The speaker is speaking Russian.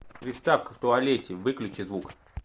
приставка в туалете выключи звук